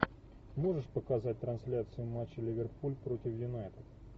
можешь показать трансляцию матча ливерпуль против юнайтед